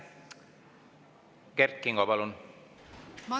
Kert Kingo, palun!